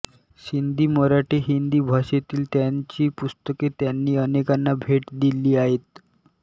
सिंधी मराठी हिंदी भाषेतील त्यांची पुस्तके त्यांनी अनेकांना भेट दिली आहेत